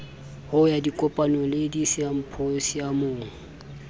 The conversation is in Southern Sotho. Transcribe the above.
ho ya dikopanong le disimphosiamong